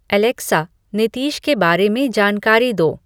Alexa Nitish के बारे में जानकारी दो